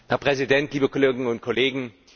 Herr Präsident, liebe Kolleginnen und Kollegen!